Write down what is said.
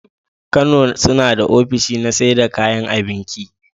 Kano sunada ofishi na saida kayan abinki